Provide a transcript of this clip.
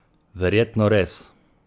Verjetno res!